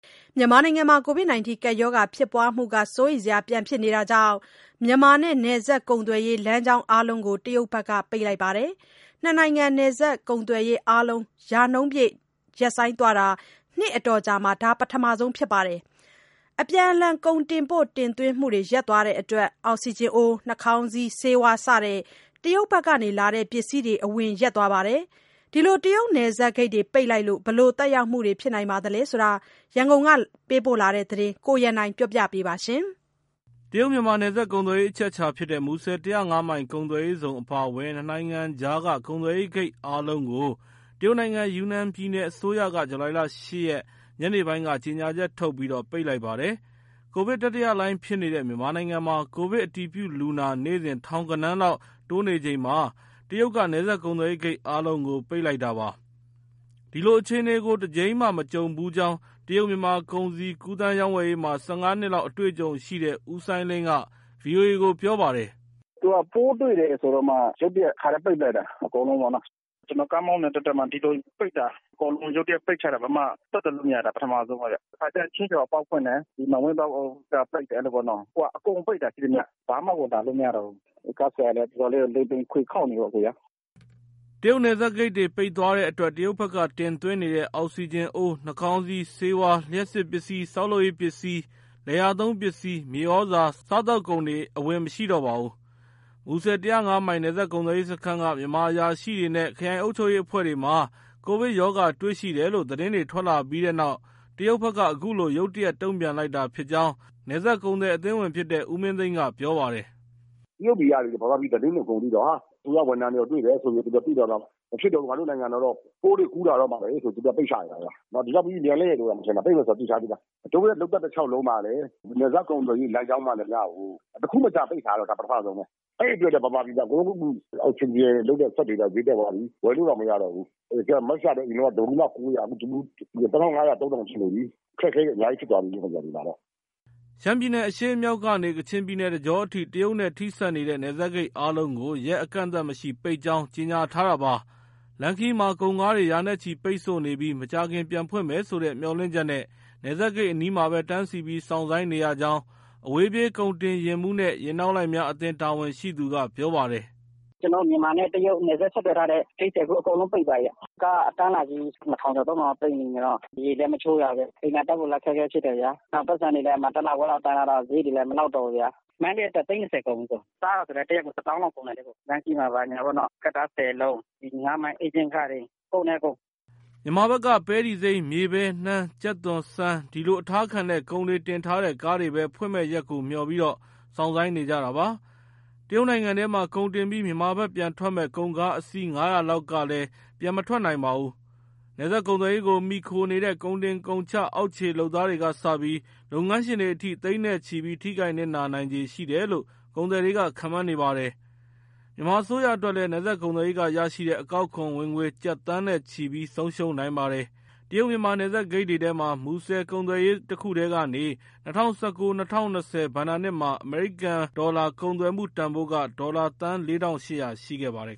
မြန်မာနိုင်ငံမှာ ကိုဗစ်ကပ်ရောဂါဖြစ်ပွားမှု စိုးရိမ်စရာ ပြန်ဖြစ်နေတာကြောင့် မြန်မာနဲ့ နယ်စပ်ကုန်သွယ်ရေး လမ်းကြောင်းအားလုံးကို တရုတ်ဘက်က ပိတ်လိုက်ပါတယ်။ နှစ်နိုင်ငံ နယ်စပ်ကုန်သွယ်ရေးအားလုံး ရာနှုန်းပြည့် ရပ်ဆိုင်းသွားတာ နှစ်အတော်ကြာမှာ ဒါ ပထမဆုံးအကြိမ်ဖြစ်ပါတယ်။ အပြန်အလှန် ကုန်တင်ပို့ တင်သွင်းမှုတွေ ရပ်သွားတဲ့အတွက် အောက်စီဂျင်အိုး၊ နှာခေါင်းစည်း၊ ဆေးဝါး စတဲ့ တရုတ်ဘက်ကလာတဲ့ ပစ္စည်းတွေ အဝင်ရပ်သွားပါတယ်။ တရုတ်နယ်စပ်ဂိတ်တွေ ပိတ်လိုက်လို့ ဘယ်လိုသက်ရောက်မှုတွေဖြစ်နေသလဲဆိုတဲ့ ရန်ကုန်ကပေးပို့တဲ့သတင်းကို ကိုရန်နိုင်က ပြောပြပါမယ်။ တရုတ်- မြန်မာနယ်စပ်ကုန်သွယ်ရေး အချက်အချာဖြစ်တဲ့ မူဆယ် ၁၀၅ မိုင် ကုန်သွယ်ရေးဇုန်အပါအဝင် နှစ်နိုင်ငံကြားက ကုန်သွယ်ဂိတ်အားလုံးကို တရုတ်နိုင်ငံ ယူနန်ပြည်နယ်အစိုးရက ဇူလိုင်လ ၈ ရက် ညနေပိုင်းက ကြေညာချက်ထုတ်ပြီး ပိတ်လိုက်ပါတယ်။ ကိုဗစ်တတိယလှိုင်းဖြစ်နေတဲ့ မြန်မာနိုင်ငံမှာ ကိုဗစ်အတည်ပြုလူနာ နေ့စဉ် ထောင်ဂဏန်းလောက် တိုးနေချိန် တရုတ်က နယ်စပ်ကုန်သွယ်ရေးဂိတ်အားလုံးကို ပိတ်လိုက်တာပါ။ ဒီလိုအခြေအနေကို တကြိမ်မှမကြုံဖူးကြောင်း တရုတ်-မြန်မာ ကုန်စည်ကူးသန်း၊ ရောင်းဝယ်ရေးမှာ ၁၅ နှစ်လောက် အတွေ့အကြုံရှိတဲ့ ဦးစိုင်းလင်းက ဗွီအိုအေကိုပြောပါတယ်။ “သူက ပိုးတွေ့တယ်ဆိုတော့မှ ရုတ်တရက် တခါတည်းပိတ်လိုက်တာ။ အကုန်လုံးပေါ့နော်။ ကျနော် ကားမောင်းနေတဲ့တသက်မှာ ဒီလိုပိတ်တာ အကုန်လုံး ရုတ်တရက်ပိတ်ချတာ လုံးဝဆက်သွယ်လို့မရတာ ပထမဦးဆုံးပဲဗျ။ တခါတလေကျ ချင်းရွှေဟော်အပေါက်ဖွင့်တယ်၊ မန်ဝိန်းပေါက်က ပိတ်တယ် အဲလိုပေါ့နော်။ အခုက အကုန်ပိတ်တာ ရှိသမျှ။ ဘာမှကို ဝင်လာလို့ မရတော့ဘူး။ ကားဆရာတွေလည်း အတော်လေးကို လိမ်ပိန်ခွေခေါက်နေရောပဲ။” တရုတ်နယ်စပ်ဂိတ်တွေပိတ်သွားတဲ့အတွက် တရုတ်ဘက်က တင်သွင်းနေတဲ့ အောက်စီဂျင်အိုး၊ နှာခေါင်းစည်း၊ ဆေးဝါး၊ လျှပ်စစ်ပစ္စည်း၊ ဆောက်လုပ်ရေးပစ္စည်း၊ လယ်ယာသုံးပစ္စည်း၊ မြေဩဇာ၊ စားသောက်ကုန်တွေ အဝင်မရှိတော့ပါဘူး။ မူဆယ် ၁၀၅ မိုင် နယ်စပ်ကုန်သွယ်ရေးစခန်းက မြန်မာအရာရှိတွေနဲ့ ခရိုင်အုပ်ချုပ်ရေးအဖွဲ့တွေမှာ ကိုဗစ်ရောဂါတွေ့ရှိတယ်လို့ သတင်းတွေထွက်လာပြီးနောက် တရုတ်ဘက်က အခုလိုရုတ်တရက် တုံ့ပြန်လိုက်တာဖြစ်ကြောင်း နယ်စပ်ကုန်သည်အသင်းဝင်ဖြစ်တဲ့ ဦးမင်းသိန်းက ပြောပါတယ်။ “တရုတ်တွေက မြန်မာပြည်သတင်းကို အကုန်သိတော့ အစိုးရဝန်ထမ်းတွေပါ တွေ့တယ်ဆိုပြီး သိတော့ မဖြစ်တော့ဘူး ငါတို့နိုင်ငံတော့ ပိုးတွေကူးလာတော့မှာပဲဆိုပြီး သူတို့ကပိတ်ချလိုက်တာ။ ဒီလောက်မြန်မယ်လို့တောင် မထင်တာ၊ ပိတ်မယ်ဆိုတာ သိထားပြီးသား။ တို့ရဲ့ လုပ်သက်တလျှောက်လုံးမှာလည်း နယ်စပ်ကုန်သွယ်ရေးလမ်းကြောင်းမှန်သမျှကို တခုမကျန်ပိတ်တာ ဒါပထမဆုံးပဲ။ အဲဒီအတွက် မြန်မာပြည်မှာ အကုန်လုံး အောက်စီဂျင်စက်တွေ ဈေးတက်သွားပြီ ဝယ်လို့တောင်မရတော့ဘူး။ Mask ကလည်းအရင်က တဗူးမှ ၉၀၀ အခု ၂၅၀၀/၃၀၀၀ ရှိနေပြီ။ အခက်အခဲတွေ အများကြီးဖြစ်သွားပြီ။” ရှမ်းပြည်နယ် အရှေ့မြောက်ကနေ ကချင်ပြည်နယ် တကြောအထိ တရုတ်နဲ့ထိစပ်နေတဲ့ နယ်စပ်ဂိတ်အားလုံးကို ရက်အကန့်အသတ်မရှိ ပိတ်ကြောင်း ကြေညာထားတာပါ။ လမ်းခရီးမှာ ကုန်ကားတွေ ရာနဲ့ချီ ပိတ်ဆို့နေပြီး မကြာခင်ပြန်ဖွင့်မယ်ဆိုတဲ့ မျှော်လင့်ချက်နဲ့ နယ်စပ်ဂိတ်အနီးမှာပဲ တန်းစီပြီး စောင့်ဆိုင်းနေရကြောင်း အဝေးပြေး ကုန်တင်ယာဉ်မှူးနဲ့ ယာဉ်နောက်လိုက်များအသင်း တာဝန်ရှိသူက ပြောပါတယ်။ “ကျနော်တို့ မြန်မာနဲ့တရုတ် နယ်စပ်ဆက်သွယ်ထားတဲ့ဂိတ်တွေ အကုန်ပိတ်သွားပြီ။ ကားအတန်းလိုက်ကြီး ၂၀၀၀ ကျော် ၃၀၀၀ လောက် ပိတ်မိနေတော့ ရေလည်းမချိုးရဘူး၊ အိမ်သာတက်ဖို့လည်း အခက်အခဲဖြစ်တယ်၊ ပိုက်ဆံတွေလည်း တလခွဲလောက်တန်းထားတော့ စရိတ်တွေလည်း မလောက်တော့ဘူး။။ မန္တလေးက တက်လာတာ သိန်း ၂၀ ကုန်ပြီ။ စားတာက တရက် တသောင်းလောက်ကုန်တယ်။ လမ်းခရီးမှာ ဘာညာကတ္တားဆယ်လုံး၊ ငါးမိုင်ဧချင်းခတွေ ကုန်တယ်အစ်ကို။” မြန်မာဘက်က ပဲတီစိမ်း၊ မြေပဲ၊ နှမ်း၊ ကြက်သွန်၊ ဆန် ဒီလိုအထားခံတဲ့ ကုန်တွေတင်ထားတဲ့ကားတွေပဲ ဖွင့်မယ့်ရက်ကိုမျှော်ပြီး စောင့်ဆိုင်းနေကြတာပါ။ တရုတ်နိုင်ငံထဲမှာ ကုန်တင်ပြီး မြန်မာဘက်ပြန်ထွက်မယ့် ကုန်ကားအစီး ၅၀၀ လောက်ကလည်း ပြန်မထွက်နိုင်ပါဘူး။ နယ်စပ်ကုန်သွယ်ရေးကို မှီခိုနေတဲ့ ကုန်တင်ကုန်ချ အောက်ခြေလုပ်သားတွေကစပြီး လုပ်ငန်းရှင်တွေအထိ သိန်းနဲ့ချီပြီး ထိခိုက်နစ်နာနိုင်ခြေရှိတယ်လို့ ကုန်သည်တွေက ခန့်မှန်းပါတယ်။ မြန်မာအစိုးရအတွက်လည်း နယ်စပ်ကုန်သွယ်ရေးကရရှိတဲ့ အကောက်ခွန်ဝင်ငွေ ကျပ်သန်းနဲ့ချီပြီး ဆုံးရှုံးနိုင်ပါတယ်။ တရုတ်- မြန်မာ နယ်စပ်ဂိတ်တွေထဲမှာ မူဆယ်ကုန်သွယ်ရေး တခုတည်းကနေ ၂၀၁၉-၂၀၂၀ ဘဏ္ဍာနှစ်မှာ အမေရိကန်ဒေါ်လာ ကုန်သွယ်မှုတန်ဖိုးက ဒေါ်လာသန်း ၄,၈၀၀ ရှိခဲ့ပါတယ်